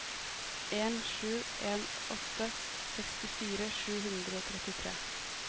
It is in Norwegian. en sju en åtte sekstifire sju hundre og trettitre